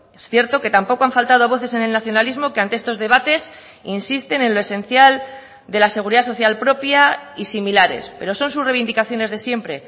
es cierto que tampoco han faltado voces en el nacionalismo que ante estos debates insisten en lo esencial de la seguridad social propia y similares pero son sus reivindicaciones de siempre